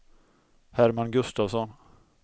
Herman Gustafsson